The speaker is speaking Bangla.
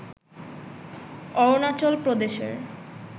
অরুণাচল প্রদেশের